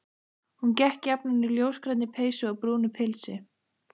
Hún gekk jafnan í ljósgrænni peysu og brúnu pilsi.